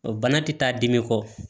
O bana ti taa dimi kɔ